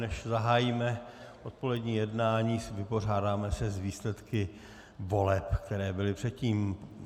Než zahájíme odpolední jednání, vypořádáme se s výsledky voleb, které byly předtím.